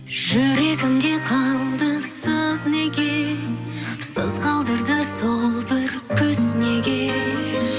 жүрегімде қалды сыз неге сыз қалдырды сол бір күз неге